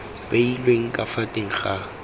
beilweng ka fa teng ga